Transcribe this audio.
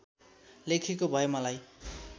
लेखेको भए मलाई